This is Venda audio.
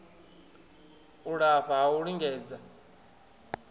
u lafha ha u lingedza